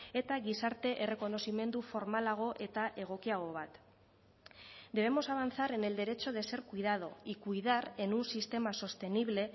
eta gizarte errekonozimendu formalago eta egokiago bat debemos avanzar en el derecho de ser cuidado y cuidar en un sistema sostenible